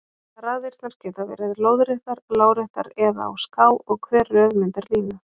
Raðirnar geta verið lóðréttar, láréttar eða á ská og hver röð myndar línu.